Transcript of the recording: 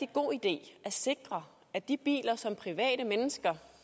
god idé at sikre at de biler som private mennesker